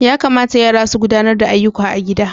Ya kamata yara su gudanar da ayyuka a gida.